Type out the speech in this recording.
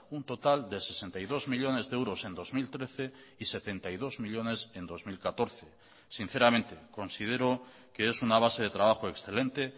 un total de sesenta y dos millónes de euros en dos mil trece y setenta y dos millónes en dos mil catorce sinceramente considero que es una base de trabajo excelente